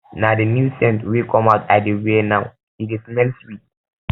na um di new scent um wey come out i dey wear now e dey um smell sweet